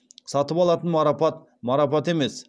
сатып алатын марапат марапат емес